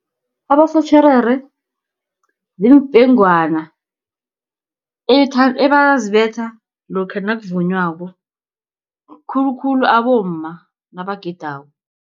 Abosotjherere ziimfengwana ebazibetha lokha nakuvunywako, khulukhulu abomma nabagidako.